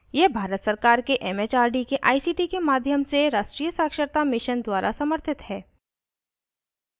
यह भारत सरकार के it it आर डी के आई सी टी के माध्यम से राष्ट्रीय साक्षरता mission द्वारा समर्थित है